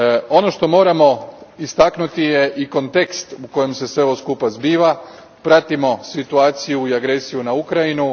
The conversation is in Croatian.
Ono što moramo istaknuti je i kontekst u kojem se sve ovo skupa zbiva, pratimo situaciju i agresiju na Ukrajinu.